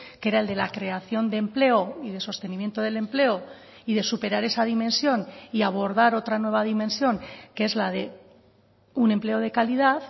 que era el de la creación de empleo y de sostenimiento del empleo y de superar esa dimensión y abordar otra nueva dimensión que es la de un empleo de calidad